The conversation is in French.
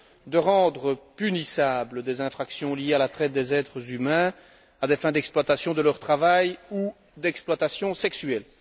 à rendre punissables des infractions liées à la traite des êtres humains, à des fins d'exploitation de leur travail ou d'exploitation sexuelle.